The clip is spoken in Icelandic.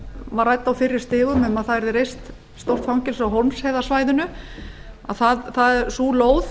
var rædd á fyrri stigum um að það yrði reist stórt fangelsi á hólmsheiðarsvæðinu sú lóð